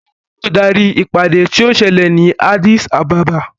Bàbá mi yóò darí ìpàdé tí yóò ṣẹlẹ̀ ni Addis Ababa.